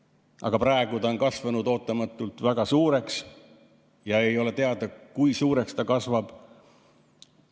Aga praegu on ta ootamatult kasvanud väga suureks ja ei ole teada, kui suureks ta kasvab.